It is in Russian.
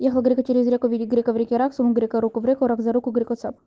ехал грека через реку видит грека в реке рак сунул грека руку в реку рак за руку греку цап